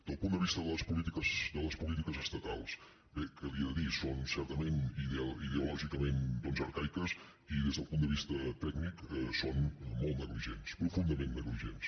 del punt de vista de les polítiques estatals bé què li he de dir són certament ideològicament arcaiques i des del punt de vista tècnic són molt negligents profundament negligents